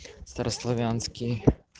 старославянские